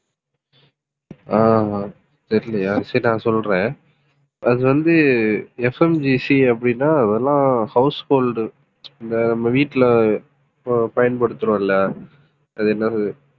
ஆஹ் ஹம் தெரியலையா சரி நான் சொல்றேன். அது வந்து FMGC அப்படின்னா அதெல்லாம் household இந்த நம்ம வீட்டுல பயன்படுத்துறோம்ல அது என்னது